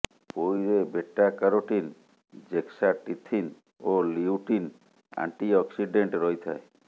ପୋଇରେ beta carotene zeaxanthin ଓ lutein antioxidant ରହିଥାଏ